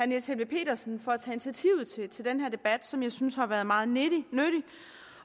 niels helveg petersen for at til den her debat som jeg synes har været meget nyttig